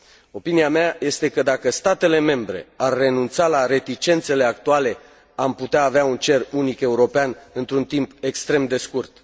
Opinia mea este că, dacă statele membre ar renunța la reticențele actuale, am putea avea un cer unic european într un timp extrem de scurt.